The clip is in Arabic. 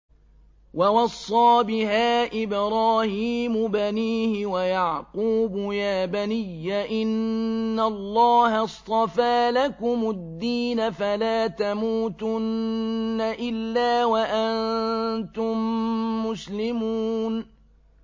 وَوَصَّىٰ بِهَا إِبْرَاهِيمُ بَنِيهِ وَيَعْقُوبُ يَا بَنِيَّ إِنَّ اللَّهَ اصْطَفَىٰ لَكُمُ الدِّينَ فَلَا تَمُوتُنَّ إِلَّا وَأَنتُم مُّسْلِمُونَ